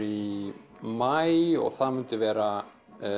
í maí og það myndi vera